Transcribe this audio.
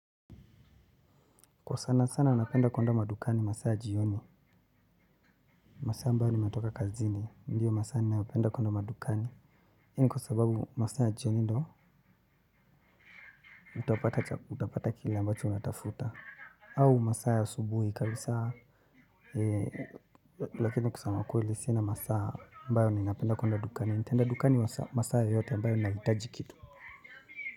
Kwa sana sana napenda kwenda madukani masaa ya jioni. Masaa ambayo nimetoka kazini ndiyo masaa ninayopenda kwenda madukani. Kwa sababu masaa jioni ndo utapata kila ambacho u. Natafuta. Au masaa ya asubuhi kabisaa. Lakini kusema ukweli sina masaa mbayo ninapenda kwenda dukani. Nitaenda dukani masaa yeyote mbayo ninahitaji kitu.